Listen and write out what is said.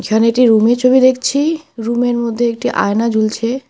এখানে একটি রুমের ছবি দেখছি রুমের মধ্যে একটি আয়না ঝুলছে।